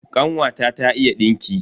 Kanwata ta iya dinki.